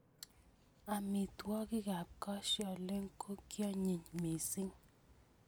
Amitwogiikab kosyoliny kokionyiny missing.